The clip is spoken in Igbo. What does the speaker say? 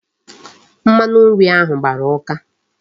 Mmanu nri ahu gbara uka